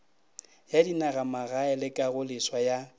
ya dinagamagae le kagoleswa ya